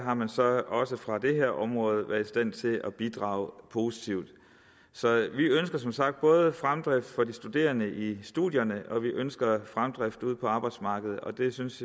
har man så også fra det her område været i stand til at bidrage positivt så vi ønsker som sagt både fremdrift for de studerende i studierne og vi ønsker fremdrift ude på arbejdsmarkedet og det synes